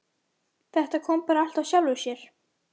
Þetta kom bara allt af sjálfu sér.